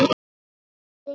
Þín Elín Eir.